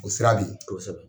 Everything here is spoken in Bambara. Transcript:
O sira bɛ yen., kosɛbɛ.